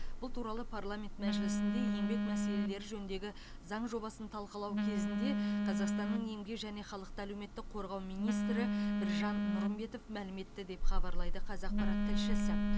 бұл туралы парламент мәжілісінде еңбек мәселелері жөніндегі заң жобасын талқылау кезінде қазақстанның еңбек және халықты әлеуметтік қорғау министрі біржан нұрымбетов мәлім етті деп хабарлайды қазақпарат тілшісі